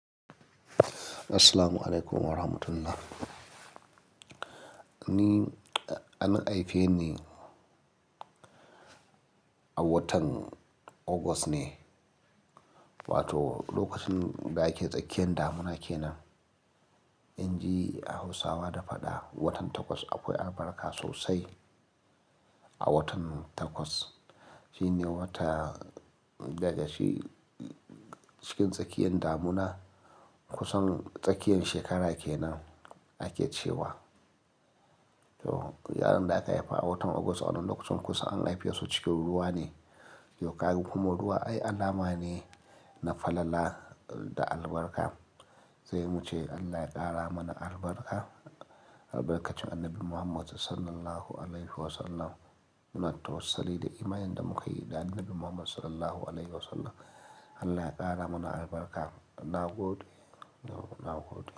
Assalamualaikum warahmatullah. Ni an haife ni a watan August ne, wato lokacin da ake tsakiyan damina kenan. In ji Hausawa da faɗa, watan Takwas akwai albarka sosai. A watan Takwas, shine wata da dashe cikin tsakiyan damina kusan tsakiyan shekara kenan ake cewa. To yaron da aka haifa a watan August wannan lokacin kusa an haife shi cikin ruwa ne. Yau kagi kuma ruwa ai alama ne na falala da albarka. Zai muce Allah ya ƙara mana albarka, albarkacin Annabi Muhammadu sallallahu alaihi wasallam. Muna tawwasuli da imaninsa da muka yi da Annabi Muhammadu sallallahu alaihi wasallam. Allah ya ƙara mana albarka. Na gode, na gode.